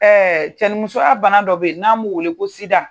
cɛnimusoya bana dɔ bɛ yen, n'a b'o wele ko sida.